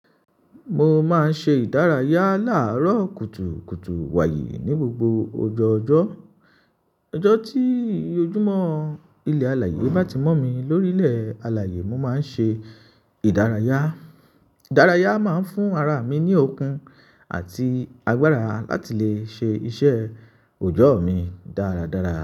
Mo máa ń ṣe ìdárayá láàárọ̀ kùtùkùtù wàyè ní gbogbo ọjọ́ ọjọ́. Ọjọ́ tí ojúmọ́ ilẹ̀ alààyè bá ti mọ̀ mí lórílẹ̀ alààyè, mo máa ń ṣe ìdárayá. Ìdárayá máa ń fún ara mi ní okun àti agbára láti lè ṣe iṣẹ́ òjọ́ mi dáradára.